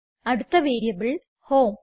അടുത്ത variable home